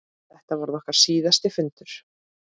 Þetta varð okkar síðasti fundur.